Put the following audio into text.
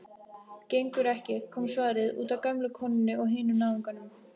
Gengur ekki,- kom svarið, útaf gömlu konunni og hinum náunganum.